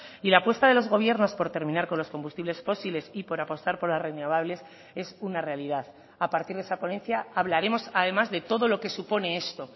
y la apuesta de los gobiernos por terminar con los combustibles fósiles y por apostar por las renovables es una realidad a partir de esa ponencia hablaremos además de todo lo que supone esto